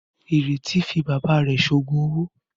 Ìrètí fi bàbá rẹ̀ ṣe òògùn owó.